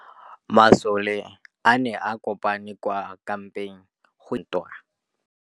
Masole a ne a kopane kwa kampeng go ipaakanyetsa ntwa.